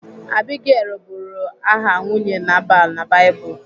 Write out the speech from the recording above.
Abigail bụrụ aha nwunye Nabal na Baịbụl.